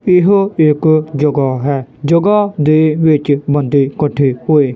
ਇਹੋ ਇਕ ਜਗਾ ਹੈ ਜਗਾਂ ਦੇ ਵਿੱਚ ਬੰਦੇ ਇਕੱਠੇ ਹੋਏ।